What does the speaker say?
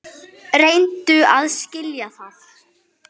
Reyndu að skilja það!